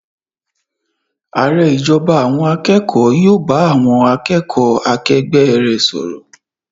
Ààrẹ ìjọba àwọn akẹ́kọ̀ọ́ yóò bá àwọn akẹ́kọ̀ọ́ akẹgbẹ́ rẹ̀ sọ̀rọ̀.